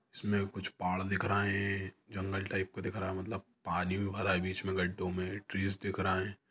इसमे कुछ पहाड़ दिख रहे है जंगल टाइप का दिख रहा मतलब पानी भी भरा है बीच मे गड्डों मे ट्रिस दिख रहे है।